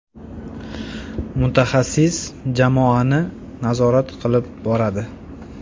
Mutaxassis jamoani nazorat qilib boradi.